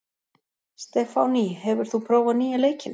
Stefánný, hefur þú prófað nýja leikinn?